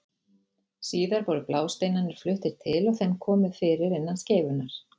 Síðar voru blásteinarnir fluttir til og þeim komið fyrir innan skeifunnar.